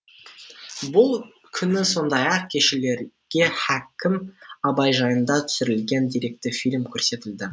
бұл күні сондай ақ келушілерге һакім абай жайында түсірілген деректі фильм көрсетілді